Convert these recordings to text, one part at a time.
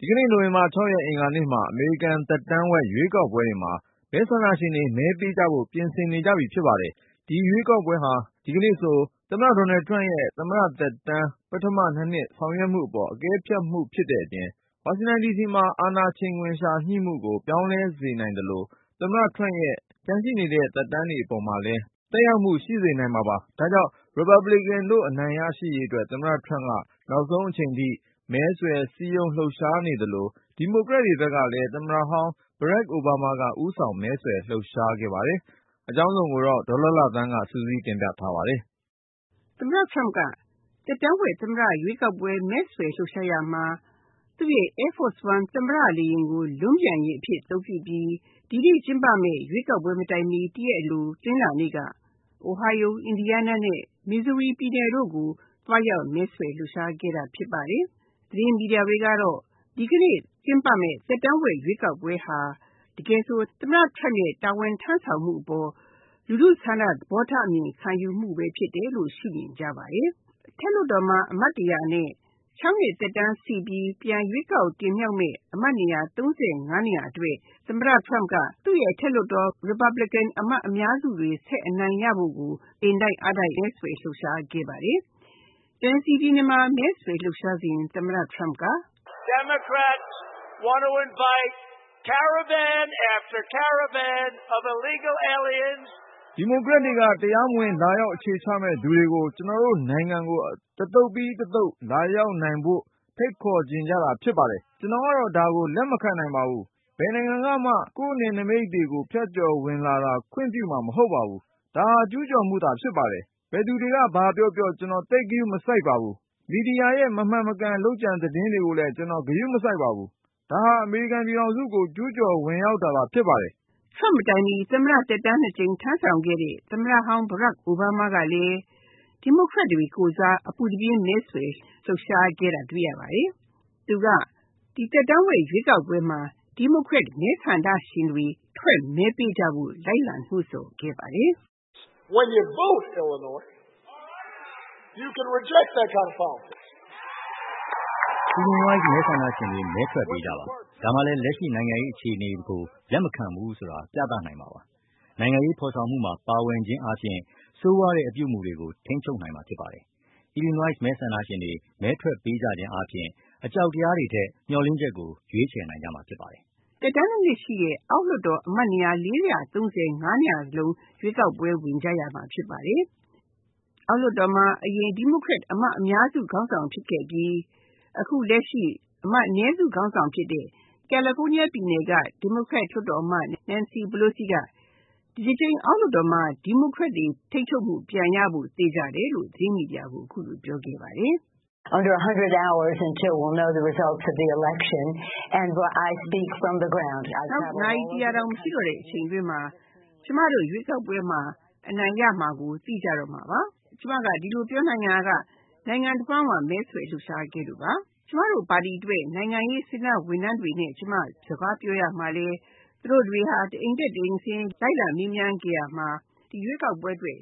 ဒီကနေ့ နိုဝင်ဘာ ၆ ရက် အင်္ဂါနေ့မှာ အမေရိကန် သက်တမ်းဝက် ရွေးကောက်ပွဲတွေမှာ မဲဆန္ဒရှင်တွေ မဲပေးကြဖို့ ပြင်ဆင်နေကြပြီ ဖြစ်ပါတယ်။ ဒီရွေးကောက်ပွဲဟာ ဒီကနေ့ဆို သမ္မတ ဒေါ်နယ်ထရမ့်ရဲ့ သမ္မတသက်တမ်း ပထမ ၂နှစ်ဆောင်ရွက်မှုအပေါ် အကဲဖြတ်မှုလည်း ဖြစ်တဲ့အပြင်၊ ဝါရှင်တန်မှာ အာဏာချိန်ခွင်လျှာ ညှိမှုကို ပြောင်းလဲစေနိုင်သလို သမ္မတ ထရမ့်ရဲ့ ကျန်ရှိတဲ့ သက်တမ်းအပေါ်မှာလည်း သက်ရောက်မှု ရှိစေနိုင်ပါတယ်။ ဒါကြောင့် ရီပတ်ဘလစ်ကန်တို့ အနိုင်ရရှိရေး သမ္မတထရမ့်က နောက်ဆုံးအချိန်ထိ မဲဆွယ်လှုပ်ရှားနေသလို ဒီမိုကရက်တွေဘက်ကလည်း သမ္မတဟောင်း အိုဘားမားက ဦးဆောင်မဲဆွယ်လှုပ်ရှားခဲ့ပါတယ်။ အကြောင်းစုံကို ဒေါ်လှလှသန်းက စုစည်းတင်ဆက် ထားပါတယ်။ သမ္မတ Turmp က သက်တမ်းဝက် သမ္မတ ရွေးကောက်ပွဲမဲဆွယ်လှုပ်ရှားရာမှာ သူ့ Air Force One သမ္မတလေယာဉ်ကို လွန်းပျံယာဉ်အဖြစ် အသုံးပြုပြီး ဒီကနေ့ကျင်းပမယ့် ရွေးကောက်ပွဲမတိုင်မီ ၁ ရက်အလို တနင်္လာနေ့က Ohio, Indiana, Missouri ပြည်နယ်တို့ကို သွားရောက်မဲဆွယ်လှုပ်ရှားခဲ့ပါတယ်။ သတင်းမီဒီယာတွေကတော့ ဒီကနေ့ကျင်းပမယ့် သက်တမ်းဝက် ရွေးကောက်ပွဲဟာ တကယ်ဆို သမ္မတ Trump ရဲ့ တာဝန်ထမ်းဆောင်မှုအပေါ် လူထုဆန္ဒသဘောထားအမြင်ခံယူမှုဖြစ်တယ်လို့ ရှု့မြင်ကြပါတယ်။ အထက်လွှတ်တော်မှာ အမတ်၁၀၀ နဲ့ ၆ နှစ်သက်တမ်းရှိပြီး ပြန်ရွေးကောက်တင်မြောက်မယ့် အမတ် ၃၅ နေရာအတွက် သမ္မတ Turmp ကသူ့ Republican အမတ်အများစုတွေဆက်ပြီးအနိုင်ရဖို့ကို အင်တိုက်အားတိုက်မဲဆွယ်လှုပ်ရှားခဲ့ပါတယ်။ Tennessee ပြည်နယ်မှာ မဲဆွယ်လှုပ်ရှားစဉ် သမ္မတ Turmp က “ဒီမိုကရက်တွေက တရားမဝင်လာရောက်အခြေချမယ့်သူတွေကို ကျနော်တို့နိုင်ငံကို တသုတ်ပြီး တသုတ်လာရောက်နိုင်ဖို့ ဖိတ်ခေါ်ချင်တာဖြစ်ပါတယ်။ ကျနော်ကတော့ ဒါကို လက်မခံပါဘူး ဘယ်နိုင်ငံကမှ ကိုယ့်နယ်နိမိတ်တွေကို ဖြတ်ကျော်ဝင်လာတာကို ခွင့်ပြုမှာမဟုတ်ဘူး ဒါက ကျူးကျော်မှုပဲဖြစ်တယ်။ ဘယ်သူတွေက ဘာပြောပြော ကျနော်သိပ်ဂရုမစိုက်ဘူး မီဒီယာတွေရဲ့ မမှန်မကန် လုပ်ကြံသတင်းတွေကိုလည်း ကျနော် ဂရုမစိုက်ဘူး ဒါက အမေရိကန်ပြည်ထောင်စုကို ကျူးကျော်ဝင်ရောက်မှုပဲဖြစ်တယ်။” Trump မတိုင်မီ သမ္မတ သက်တမ်း ၂ ကြိမ်ထမ်းဆောင်ခဲ့တဲ့ သမ္မတဟောင်း Obama ကလည်း ဒီမိုကရက်တွေကိုယ်စား အပူတပြင်းမဲဆွယ် လှုပ်ရှားခဲ့တာတွေ့ရပါတယ်။ သူက ဒီသက်တမ်းဝက် ရွေးကောက်ပွဲမှာ ဒီမိုကရက်မဲဆန္ဒရှင်တွေ ထွက်မဲပေးကြဖို့ လိုက်လံ နှိုးဆော်ခဲ့ပါတယ်။ “Illinois မဲဆန္ဒရှင်တွေ မဲထွက်ပေးကြပါ။ ဒါမှလည်း လက်ရှိနိုင်ငံရေးအခြေအနေကို လက်မခံဘူးဆိုတာ ပြသနိုင်မှာပါ။ နိုင်ငံရေးဖော်ဆောင်မှုမှာ ပါဝင်ခြင်းအားဖြင့် ဆိုးရွားတဲ့အပြုအမှုတွေကို ထိန်းချုပ်နိုင်မှာဖြစ်ပါတယ်။ Illinois မဲဆန္ဒရှင်တွေ မဲထွက်ပေးကြခြင်းဖြင့် အကြောက်တရားတွေထက် မျှော်လင့်ချက်တွေကို ရွေးချယ်နိုင်ကြမှာပါ။” သက်တမ်း ၂ နှစ်ရှိတဲ့ အောက်လွှတ်တော်အမတ်နေရာ ၄၃၅ နေရာစလုံး ရွေးကောက်ပွဲ ဝင်ကြရမှာဖြစ်ပါတယ်။ အောက်လွှတ်တော်မှာ အရင်ဒီမိုကရက်အမတ်အများစု ခေါင်းဆောင်ဖြစ်ခဲ့ပြီး အခုလက်ရှိ အမတ်အနည်းစုခေါင်းဆောင်ဖြစ်တဲ့ Nancy Pelosi က ဒီတကြိမ် ဒီမိုကရက်တွေထိန်းချုပ်မှု ပြန်ရဖို့ သေချာတယ်လို့ သတင်းမီဒီယာကို အခုလိုပြောခဲ့ပါတယ်။ “နောက် နာရီ ၁၀၀ တောင်မရှိတော့တဲ့အချိန်အတွင်းမှာ ကျမတို့ရွေးကောက်ပွဲမှာ အနိုင်ရမှာကို သိကြတော့မှာပါ။ ကျမဒီလိုပြောနိုင်တာက နိုင်ငံတဝှမ်းမှာ မဲဆွယ်လှုပ်ရှားခဲ့လို့ပါ။ ကျမတို့ပါတီအတွက် နိုင်ငံရေး စေတနာ့ဝန်ထမ်းတွေနဲ့ ကျမ စကားပြောရာမှာလည်း သူတို့တွေက တအိမ်တက် တအိမ်ဆင်း လိုက်မေးမြန်းခဲ့ပြီး ဒီရွေးကောက်ပွဲအတွက်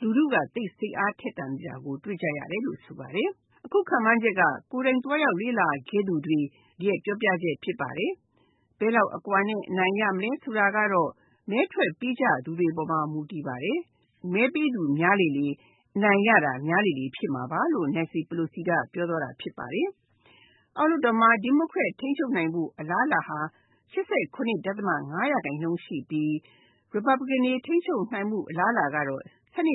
လူထုကို စိတ်အားထက်သန်တာကိုတွေ့ရတယ်လို့ ဆိုပါတယ်။ အခုခန့်မှန်းတာက ကိုယ်တိုင်သွားရောက်လေ့လာခဲ့သူတွေ ရဲ့ပြောပြချက်ဖြစ်ပါတယ်။ ဘယ်လောက်အကွာနဲ့ အနိုင်ရမလဲဆိုတာကတော့ မဲထွက်ပေးကြသူတွေအပေါ်မှာ မူတည်ပါတယ်။ မဲပေးသူများလေလေ အနိုင်ရတာများမှာပါ။” အောက်လွှတ်တော်မှာ ဒီမိုကရက်ထိန်းချုပ်နိုင်ဖို့ အလားအလာဟာ ၈၇.၅ ရာခိုင်နှုန်းရှိပြီး ရီပတ်ပလီကန်တွေ ထိန်းချုပ်နိုင်ဖို့ အလားအလာဟာ ၁၂.၅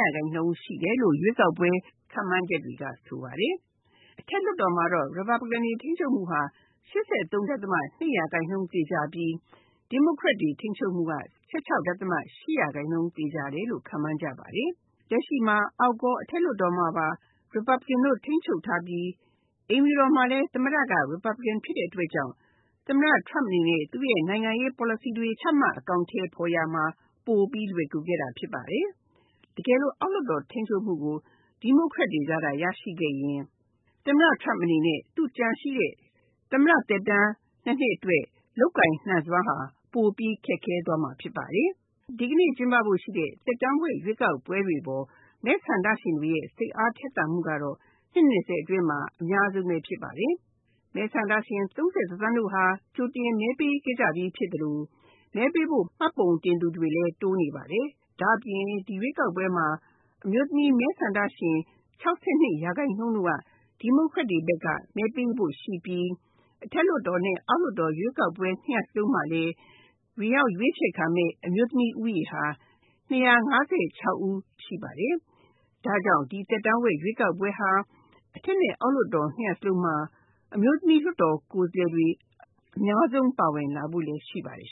ရာခိုင်နှုန်းရှိတယ်လို့ ရွေးကောက်ပွဲ ခန့်မှန်းချက်တွေက ဆိုပါတယ်။ အထက်လွှတ်တော်မှာ ရီပတ်ပလီကန်တွေ ထိန်းချုပ်မှုဟာ ၈၃.၂ ရာခိုင်နှုန်းသေချာပြီး ဒီမိုကရက်ထိန်းချုပ်နိုင်ဖို့ အလားအလာဟာ ၁၆.၈ ရာခိုင်နှုန်းသေချာတယ်လို့ ခန့်မှန်းကြပါတယ်။ လက်ရှိမှာ အောက်ရော အထက်လွှတ်တော်မှာပါ ရီပတ်ပလီကန်တွေ ထိန်းချုပ်ထားပြီး အိမ်ဖြူတော်မှာလည်း သမ္မတက ရီပတ်ပလီကန်ဖြစ်တဲ့အတွက်ကြောင့် သမ္မတ Trump အနေနဲ့ သူ့နိုင်ငံရေး ပေါ်လစီတွေ ချမှတ်အကောင်အထည်ဖော်ရာမှာ ပိုလွယ်ကူခဲ့တာဖြစ်ပါတယ်။ အောက်လွှတ်တော်မှာ ထိန်းချုပ်နိုင်ဖို့ဒီမိုကရက်တွေက ရရှိခဲ့ရင် သမ္မတ Trump အနေနဲ့ ကျန်ရှိတဲ့ သမ္မတ သက်တမ်း ၂ နှစ်အတွက် လုပ်ကိုင်နိုင်စွမ်းဟာ ပိုပြီးခက်ခဲမှာဖြစ်ပါတယ်။ ဒီကနေ့ကျင်းပမယ့် ရွေးကောက်ပွဲတွေအပေါ် မဲဆန္ဒရှင်တွေရဲ့ စိတ်အားထက်သန်မှုကတော့ နှစ် ၂၀ အတွင်းမှာ အများဆုံးဖြစ်ပါတယ်။ မဲဆန္ဒရှင် ၃၁ သန်းဟာ ကြိုတင်မဲပေးခဲ့ကြပြီဖြစ်သလို မဲပေးဖို့ မှတ်ပုံတင်သူတွေလည်း တိုးနေပါတယ်။ ဒါ့အပြင် ဒီရွေးကောက်ပွဲမှာ အမျိုးသမီး မဲဆန္ဒရှင် ၆၂ ရာခိုင်နှုန်းက ဒီမိုကရက်တွေကို မဲပေးဖို့ရှိပြီး အထက်လွှတ်တော် အောက်လွှတ်တော် ၂ ရပ်စလုံးမှာလည်း ဝင်ရောက်ရွေးချယ်ခံမယ့် အမျိုးသမီး ဦးရေဟာ ၂၅၆ ဦးရှိပါတယ်။ ဒါကြောင့် ဒီသက်တမ်းဝက် ရွေးကောက်ပွဲဟာ အထက်လွှတ်တော် အောက်လွှတ်တော် ၂ ရပ်စလုံးမှာ အမျိုးသမီးလွှတ်တော်ကိုယ်စားလှယ်တွေ အများဆုံးပါဝင်လာဖို့ရှိပါတယ်